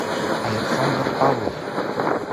александр павлов